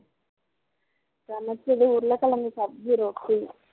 சமைச்சது உருளைக்கிழங்கு சப்ஜி ரொட்டி